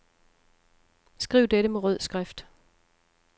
Skriv dette med rød skrift.